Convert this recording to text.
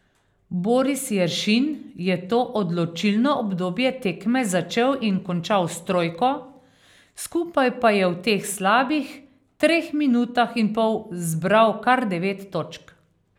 Boris Jeršin je to odločilno obdobje tekme začel in končal s trojko, skupaj pa je v teh slabih treh minutah in pol zbral kar devet točk.